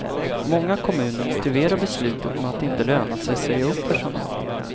Många kommuner motiverar beslutet med att det inte lönar sig att säga upp personal.